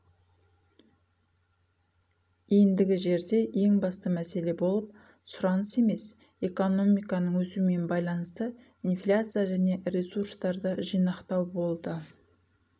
ендігі жерде ең басты мәселе болып сұраныс емес экономиканың өсуімен байланысты инфляция және ресурстарды жинақтау болды